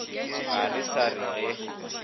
ga re sa re ge